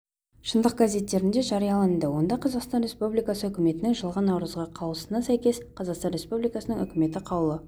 шындық газеттерінде жарияланды онда қазақстан республикасы үкіметінің жылғы наурыздағы қаулысына сәйкес қазақстан республикасының үкіметі қаулы